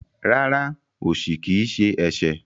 Rárá, osi kii ṣe ẹṣẹ.